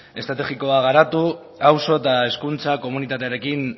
estrategikoa garatu auzo eta hezkuntza komunitatearekin